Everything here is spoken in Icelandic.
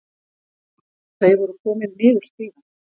Þau voru komin niður stigann.